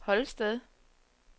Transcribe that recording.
Holsted